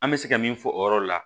An bɛ se ka min fɔ o yɔrɔ la